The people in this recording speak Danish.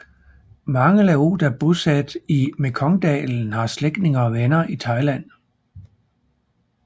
Mange laoter bosatte i Mekongdalen har slægtninge og venner i Thailand